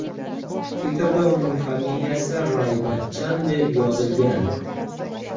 Titrda uning familiyasi Ray-Bachchan deb yozilgan.